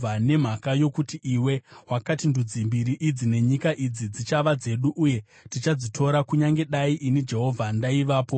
“ ‘Nemhaka yokuti iwe wakati, “Ndudzi mbiri idzi nenyika idzi dzichava dzedu uye tichadzitora,” kunyange dai ini Jehovha ndaivapo,